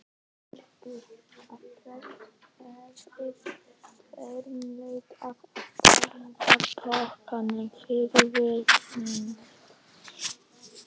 Mörtu að prestur hefði þverneitað að taka þóknun fyrir viðvikið.